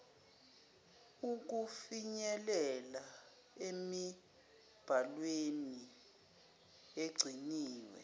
ukufinyelela emibhalweni egciniwe